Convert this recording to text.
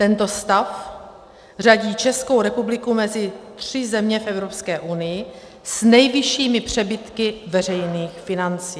Tento stav řadí Českou republiku mezi tři země v Evropské unii s nejvyššími přebytky veřejných financí.